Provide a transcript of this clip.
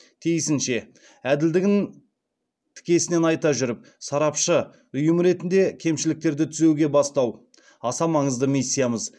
тиісінше әділдігін тікесінен айта жүріп сарапшы ұйым ретінде кемшіліктерді түзеуге бастау аса маңызды миссиямыз